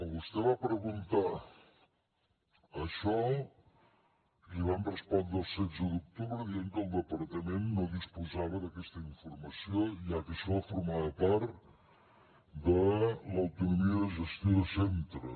vostè va preguntar això i li vam respondre el setze d’octubre dient que el departament no disposava d’aquesta informació ja que això formava part de l’autonomia de gestió de centres